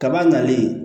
Kaba nalen